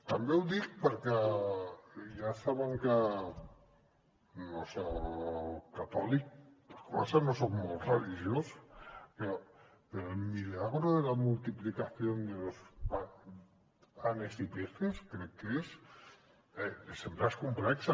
també ho dic perquè ja saben que no soc catòlic per començar no soc molt religiós però el milagro de la multiplicación de los panes y peces crec que és sempre és complex